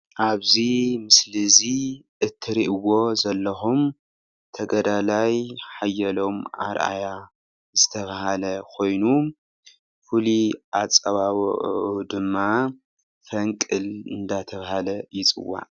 ኣብዚ ምስሊ እዚ እትርእይዎ ዘለኹም ተጋዳላይ ሓየሎም ኣረኣያ ዝተባህለ ኮይኑ ፍሉይ ኣጸዋውኡ ድማ ፈንቅል እንዳተባህለ ይጽዋዕ።